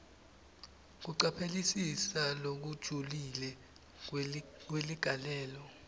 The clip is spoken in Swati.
kucaphelisisa lokujulile kweligalelo